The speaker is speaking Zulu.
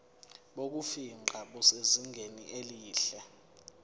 bokufingqa busezingeni elihle